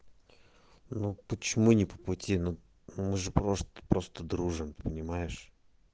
ну почему не по пути ну мы же просто просто дружим понимаешь